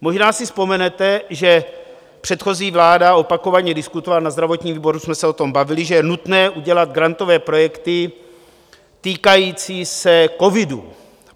Možná si vzpomenete, že předchozí vláda opakovaně diskutovala, na zdravotním výboru jsme se o tom bavili, že je nutné udělat grantové projekty týkající se covidu.